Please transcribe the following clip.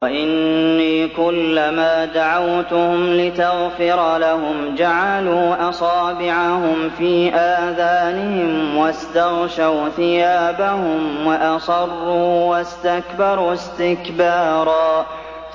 وَإِنِّي كُلَّمَا دَعَوْتُهُمْ لِتَغْفِرَ لَهُمْ جَعَلُوا أَصَابِعَهُمْ فِي آذَانِهِمْ وَاسْتَغْشَوْا ثِيَابَهُمْ وَأَصَرُّوا وَاسْتَكْبَرُوا اسْتِكْبَارًا